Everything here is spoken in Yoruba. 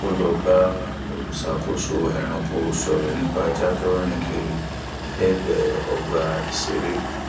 ó lọ bá olùṣàkóso ẹranko sọrọ nípa ajá tó ń rìn kiri lẹgbẹẹ ọgbà ìṣeré